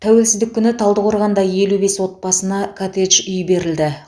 тәуелсіздік күні талдықорғанда елу бес отбасына коттедж үй берілді